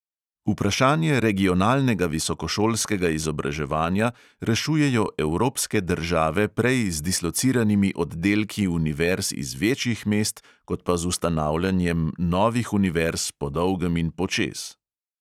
Vprašanje regionalnega visokošolskega izobraževanja rešujejo evropske države prej z dislociranimi oddelki univerz iz večjih mest kot pa z ustanavljanjem novih univerz po dolgem in počez.